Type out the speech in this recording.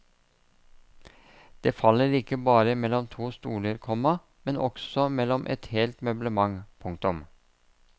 Det faller ikke bare mellom to stoler, komma men også mellom et helt møblement. punktum